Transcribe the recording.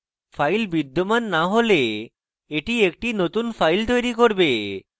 file বিদ্যমান না হলে এটি একটি নতুন file তৈরী করবে